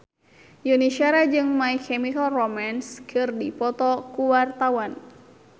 Yuni Shara jeung My Chemical Romance keur dipoto ku wartawan